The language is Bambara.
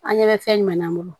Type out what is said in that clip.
An ɲɛ bɛ fɛn ɲuman na an bolo